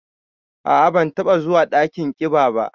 A'a, ban taba zuwa dakin ƙiba ba.